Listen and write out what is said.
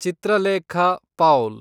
Chitralekha Paul